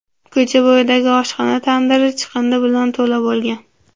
Ko‘cha bo‘yidagi oshxona tandiri chiqindi bilan to‘la bo‘lgan.